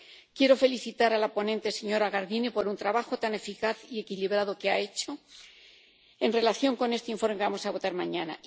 Quiero felicitar a la ponente, señora Gardini, por el trabajo tan eficaz y equilibrado que ha hecho en relación con este informe que vamos a votar mañana.